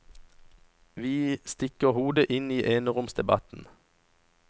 Vi stikker hodet inn i eneromsdebatten.